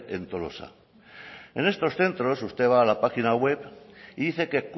en tolosa en estos centros usted va a la página web y dice que